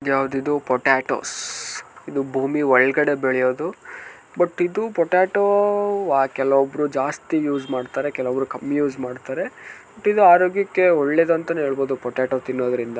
ಯಾವ್ದ್ ಇದು ಪೊಟೆಟೋಸ್ . ಇದು ಭೂಮಿ ಒಳಗಡೆ ಬೆಳೆಯೋದು ಬಟ್ ಇದು ಪೊಟೆಟೋ ಆ ಕೆಲವೊಬ್ಬರು ಜಾಸ್ತಿ ಯೂಸ್ ಮಾಡ್ತಾರೆ ಕೆಲವರು ಕಮ್ಮಿ ಯೂಸ್ ಮಾಡ್ತಾರೆ. ದಿನ ಆರೋಗ್ಯಕ್ಕೆ ಒಳ್ಳೇದು ಅಂತಾನೂ ಹೇಳಬಹುದು ಪೊಟೆಟೋ ತಿನ್ನೋದರಿಂದ.